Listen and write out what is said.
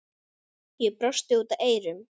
Ég brosi út að eyrum.